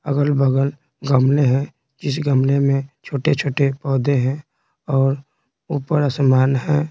अगल-बगल गमले हैं जिस गमले में छोटे-छोटे पौधे हैं और ऊपर आसमान है।